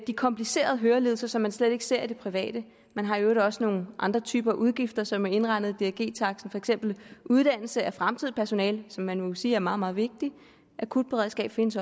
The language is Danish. de komplicerede hørelidelser som man slet ikke ser i det private man har i øvrigt også nogle andre typer af udgifter som er indregnet i drg taksten eksempel uddannelse af fremtidigt personale som man må sige er meget meget vigtigt et akutberedskab findes